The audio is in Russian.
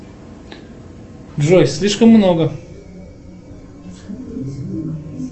джой слишком много